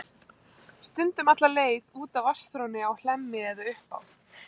Stundum alla leið út að vatnsþrónni á Hlemmi eða upp á